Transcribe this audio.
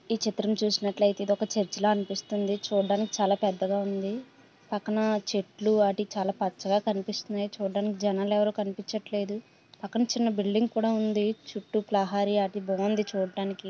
ఈ చిత్రం చూసినట్లైతే ఇది ఒక చెర్చలా అనిపిస్తుంది. చూడడానికి చాలా పెద్దగా ఉంది పక్కన చాలా పచ్చగా కనిపిస్తుంది స్వీకరించడం జరిగింది చిన్న బిల్డింగ్ కూడా ఉంది.బాగుంది చూడడానికి.